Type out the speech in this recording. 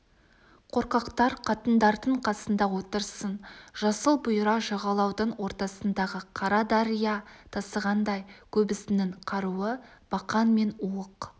қорқақтар қатындардың қасында отырсын жасыл бұйра жағалаудың ортасындағы қара дария тасығандай көбісінің қаруы бақан мен уық